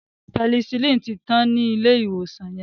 Penicillin tí tán ní ilé ìwòsan yen.